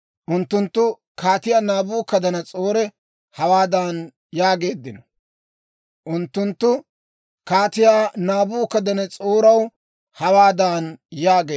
Unttunttu Kaatiyaa Naabukadanas'oora hawaadan yaageeddino; «Kaatiyaw, med'inaw de'a.